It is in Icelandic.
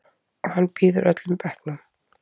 Og hann býður öllum bekknum.